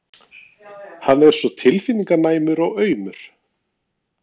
Hann er svo tilfinninganæmur og aumur.